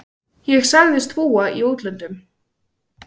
Ég sagðist búa í útlöndum.